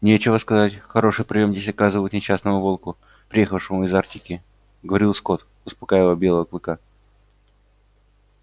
нечего сказать хороший приём здесь оказывают несчастному волку приехавшему из арктики говорил скотт успокаивая белого клыка